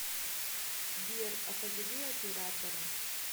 сбер а позови оператора